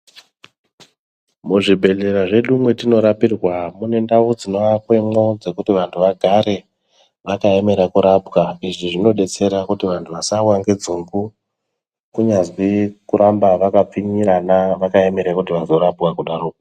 Muzv ibhedhlera zvedu mwatino rapirwa ,mune ndau dzinoakwemo dzekuti vantu vagare vakaemera kurapwa, izvi zvinodetsera kuti vantu vasawa ngedzungu kunyazwi kuramba vaka pfinyirana vakayemera kuti vazorapwa kudaro.